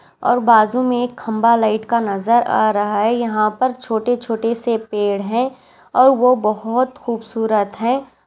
और बाजू में एक खंबा लाइट का नजर आ रहा है यहाँ पर छोटे छोटे से पेड़ है और वो बहुत खूबसूरत है।